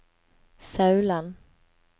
Sauland